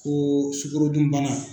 Ko sukorodunbana.